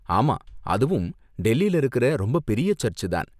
ஆமா, அதுவும் டெல்லில இருக்குற ரொம்ப பெரிய சர்ச் தான்.